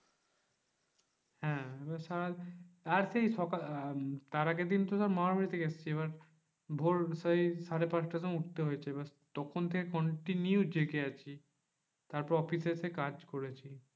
হ্যাঁ এবার সারাদিন আর সেই সকাল তার আগেরদিন তো ধর মামার বাড়ি থেকে এসেছি। এবার ভোর সেই সাড়ে পাঁচটার সময় উঠতে হয়েছে এবার তখন থেকে continue জেগে আছি। তারপর অফিসে এসে কাজ করেছি।